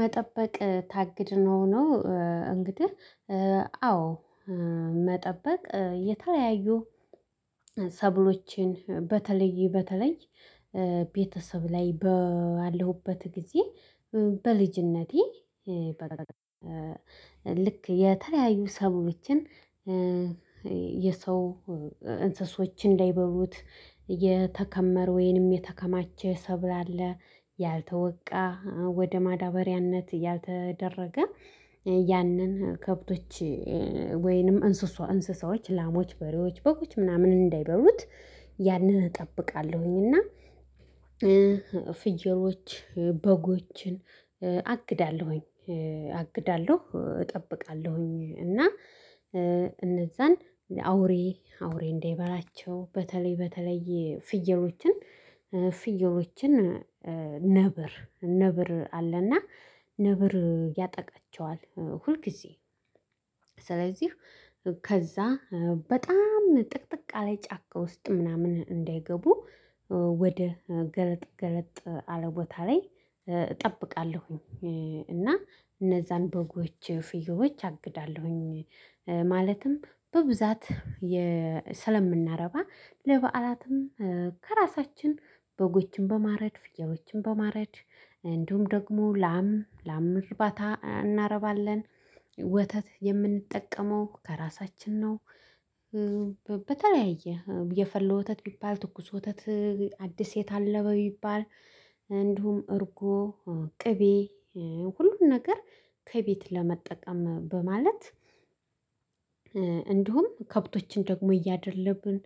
መጠበቅ ታግድ ነው ነው። እንግዲህ አዎ። መጠበቅ የተለያዩ ሰብሎቼን በተለይ በተለይ ቤተሰብ ላይ ባለሁበት ጊዜ። በልጅነቴ ልክ የተለያዩ ሰብሎችን የሰው እንስሶች እንዳይበሉት የተከመረ ወይንም የተከማቸ ሰብል አለ። ያልተወቃ ወደ ማዳበሪያነት ያልተደረገ ያንን ከብቶች ወይንም እንስሶ እንስሳዎች ላሞች በሬዎች በጎች ምናምን እንዳይበሉት። ያንን እጠብቃለሁኝ እና ፍየሎች በጎችን አግዳለሁኝ አግዳለሁ እጠብቃለሁኝ። እና እነዛን ለአውሬ አውሬ እንዳይበላቸው በተለይ በተለይ ፍየሎችን ፍየሎችን ነብር ነብር አለ እና ነብር ያጠቃቸዋል ሁል ጊዜ። ስለዚህ ከዛ በጣም ጥቅጥቅ ያለ ጫካ ውስጥ ምናምን እንዳይገቡ ወደ ገለጥ ገለጥ አለ ቦታ ላይ እጠብቃለሁኝ። እና እነዛን በጎች ፍየሎች አግዳለሁኝ ማለትም በብዛት የ ስለምናረባ ለበዓላትም ከራሳችን በጎችን በማረድ ፍያሎችን በማረድ እንዲሁም ደግሞ ላም ላም ርባታ እናረባለን ወተት የምንጠቀመው ከራሳችን ነው። በተለያየ የፈላ ወተት ቢባል ትኩስ ወተት አዲስ የታለበ ቢባል እንዲሁም እርጎ ቅቤ ሁሉን ነገር ከቤት ለመጠቀም በማለት። እንዲሁም ከብቶችን ደግሞ እያደለብን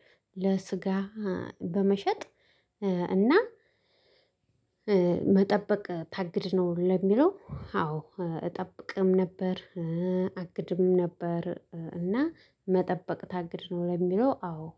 ለስጋ በመሸጥ እና። መጠበቅ ታግድ ነው ለሚለው አዎ እጠብቅም ነበር። አግድም ነበር እና መጠበቅ ታግድ ነው ለሚለው አዎ።